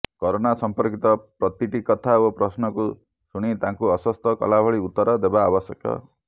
corona ସମ୍ପର୍କିତ ପ୍ରତିଟି କଥା ଓ ପ୍ରଶ୍ନକୁ ଶୁଣି ତାଙ୍କୁ ଆଶ୍ୱସ୍ତ କଲାଭଳି ଉତ୍ତର ଦେବା ଆବଶ୍ୟକ